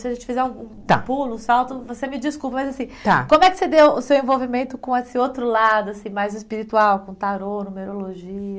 Se a gente fizer um pulo, um salto, você me desculpa, mas assim, está como é que você deu o seu envolvimento com esse outro lado, assim, mais espiritual, com tarô, numerologia?